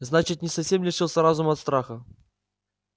значит не совсем лишился разума от страха